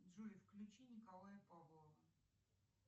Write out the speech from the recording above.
джой включи николая павлова